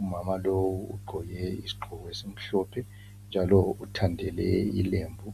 Umama lo ugqoke isiqgoko esimhlophe, njalo uthandele ilembu.